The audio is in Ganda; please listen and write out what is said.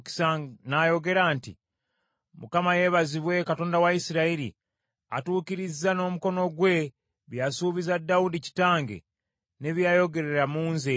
N’ayogera nti, “ Mukama yeebazibwe, Katonda wa Isirayiri, atuukirizza n’omukono gwe bye yasuubiza Dawudi kitange ne bye yayogerera mu ye.